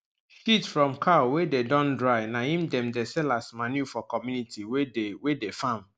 shit from cow wey dey don dry na him dem dey sell as manure for community wey dey wey dey farm